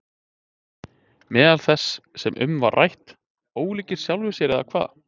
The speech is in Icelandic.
Meðal þess sem um var rætt: Ólíkir sjálfum sér eða hvað?